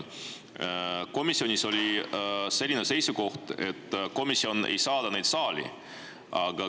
Komisjonis oli selline seisukoht, et komisjon ei saada neid saali.